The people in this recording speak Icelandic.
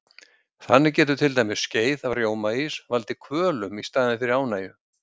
Þannig getur til dæmis skeið af rjómaís valdið kvölum í staðinn fyrir ánægju.